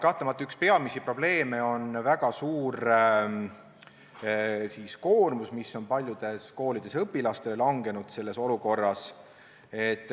Kahtlemata üks peamisi probleeme on väga suur koormus, mis paljudes koolides on õpilastele selles olukorras langenud.